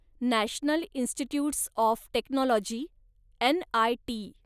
national Institutes of Technology, NIT